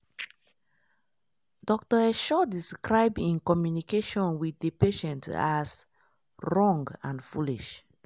dr esho describe im communication wit di patient as "wrong and foolish".